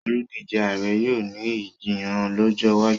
oludije Ààrẹ yóò ní Ìjiyàn lójó wájú.